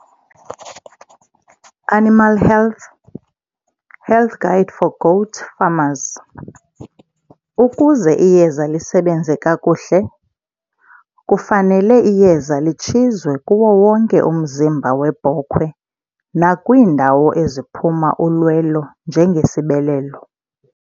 Animal health, health guide for goat farmers. Ukuze iyeza lisebenze kakuhle, kufanele iyeza litshizwe kuwo wonke umzimba webhokhwe nakwiindawo eziphuma ulwelo njengesibelelo.